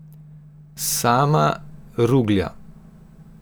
Sama Ruglja.